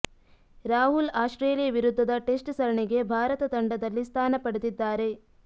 Rahul Australia ವಿರುದ್ಧದ test ಸರಣಿಗೆ ಭಾರತ ತಂಡದಲ್ಲಿ ಸ್ಥಾನ ಪಡೆದಿದ್ದಾರೆ